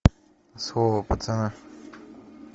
слово пацана